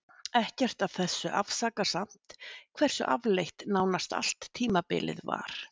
Ekkert af þessu afsakar samt hversu afleitt nánast allt tímabilið var.